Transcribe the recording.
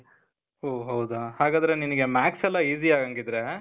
ಓ, ಹೌದಾ. ಹಾಗಾದ್ರೆ ನಿನಿಗೆ math's ಎಲ್ಲ easy ಆಗಂಗಿದ್ರೆ,